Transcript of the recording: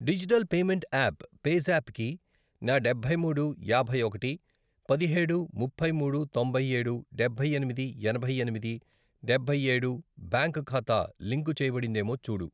Digital payment app PayZapp కి నా డబ్బై మూడు, యాభై ఒకటి, పదిహేడు, ముప్పై మూడు, తొంభై ఏడు, డబ్బై ఎనిమిది, ఎనభై ఎనిమిది, డబ్బై ఏడు, బ్యాంక్ ఖాతా లింకు చేయబడిందేమో చూడు.